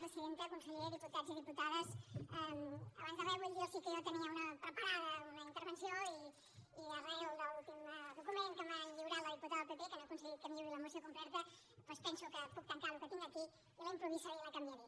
presidenta conseller diputats i diputades abans de res vull dir·los que jo tenia preparada una in·tervenció i arran de l’últim document que m’ha lliurat la diputada del pp que no he aconseguit que em lliuri la moció completa doncs penso que puc tancar el que tinc aquí i la improvisaré i la canviaré